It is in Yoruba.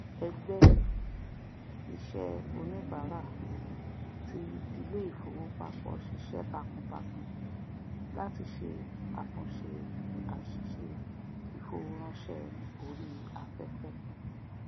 ẹgbẹ iṣẹ oníbàárà ti iléìfowópapọ ṣiṣẹ takuntakun láti ṣe àtúnṣe àsìse ìfowóránsé ori afefe